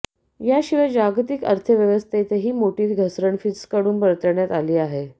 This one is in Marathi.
याशिवाय जागतिक अर्थव्यवस्थेतही मोठी घसरण फिचकडून वर्तवण्यात आली आहे